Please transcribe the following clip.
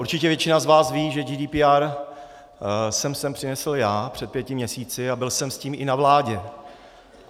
Určitě většina z vás ví, že GDPR jsem sem přinesl já před pěti měsíci a byl jsem s tím i na vládě.